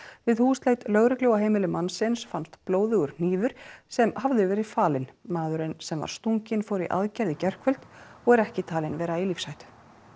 við húsleit lögreglu á heimili mannsins fannst blóðugur hnífur sem hafði verið falinn maðurinn sem var stunginn fór í aðgerð í gærkvöld og er ekki talinn vera í lífshættu